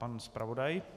Pan zpravodaj.